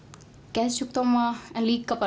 geðsjúkdóma en líka